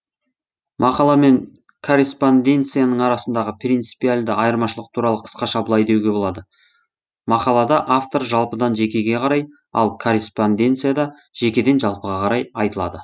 мақала мен корреспонденцияның арасындағы принципиальды айырмашылық туралы қысқаша былай деуге болады мақалада автор жалпыдан жекеге қарай ал корреспонденцияда жекеден жалпыға қарай айтылады